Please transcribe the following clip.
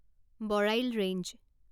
Barail range